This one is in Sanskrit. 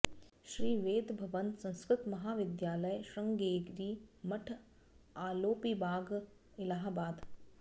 श्री वेद भवन संस्कृत महाविद्यालय श्रृंगेरी मठ आलोपीबाग इलाहाबाद